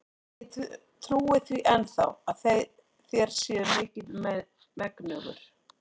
Og ég trúi því enn þá, að þér séuð mikils megnugur.